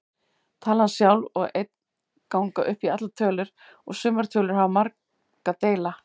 Talan sjálf og einn ganga upp í allar tölur og sumar tölur hafa marga deila.